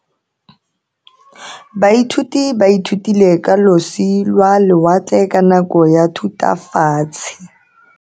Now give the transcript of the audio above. Baithuti ba ithutile ka losi lwa lewatle ka nako ya Thutafatshe.